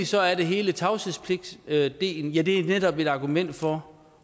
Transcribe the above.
så er der hele tavshedspligtdelen ja det er netop et argument for